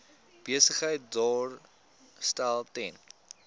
besigheid daarstel ten